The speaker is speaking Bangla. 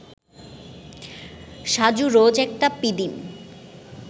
সাজু রোজ একটা পিদিম